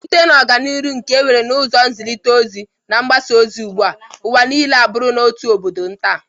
Site na ọganiru nke enwere n'ụzọ nzịrịta ozi na mgbasa ozi ugbụa, ụwa niile abụrula otu obodo nta.